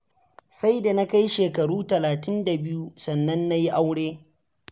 Sai da na kai shekaru talatin da biyu sannan na yi aure.